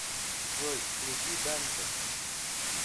джой включи данте